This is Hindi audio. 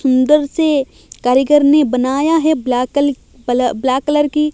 सुंदर से कारीगर ने बनाया है ब्लैक कलर ब्लैक कलर की--